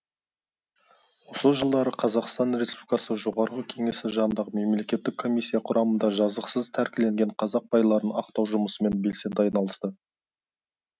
осы жылдары қазақстан республикасы жоғарғы кеңесі жанындағы мемлекеттік комиссия құрамында жазықсыз тәркіленген қазақ байларын ақтау жұмысымен белсенді айналысты